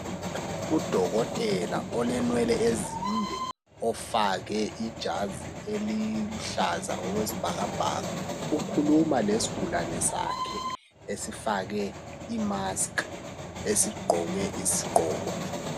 Udokotela olemwele ezinde ofake ijazi eliluhlaza okwesibhakabhaka ukhuluma lesigulane sakhe esifake imasikhi esigqoke isigqoko